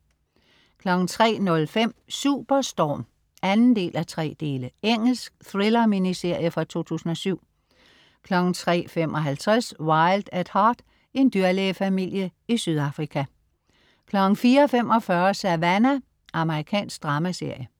03.05 Superstorm. 2:3 Engelsk thriller-miniserie fra 2007 03.55 Wild at Heart. En dyrlægefamilie i Sydafrika 04.45 Savannah. Amerikansk dramaserie